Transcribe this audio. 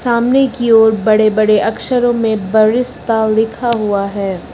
सामने की ओर बड़े बड़े अक्षरों में बरिस्ता लिखा हुआ है।